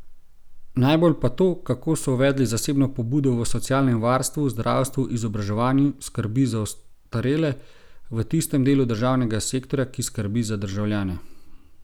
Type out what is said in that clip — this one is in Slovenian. Najbolj pa to, kako so uvedli zasebno pobudo v socialnem varstvu, zdravstvu, izobraževanju, skrbi za ostarele, v tistem delu državnega sektorja, ki skrbi za državljane.